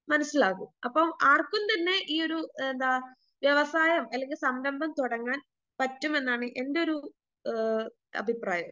മനസ്സിലാകും അപ്പോ ആർക്കും തന്നെ ഈയൊരു എന്താ വ്യവസായം അല്ലെങ്കിൽ സംരംഭം തൊടങ്ങാൻ പറ്റുമെന്നാണ് എന്റൊരു ആ അഭിപ്രായം.